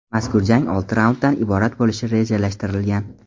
Mazkur jang olti raunddan iborat bo‘lishi rejalashtirilgan.